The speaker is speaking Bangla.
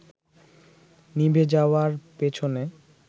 নিভে যাওয়ার পেছনে